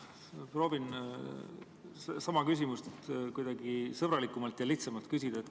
Ma proovin sama küsimust kuidagi sõbralikumalt ja lihtsamalt küsida.